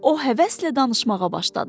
O həvəslə danışmağa başladı.